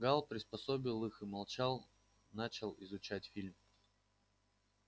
гаал приспособил их и молчал начал изучать фильм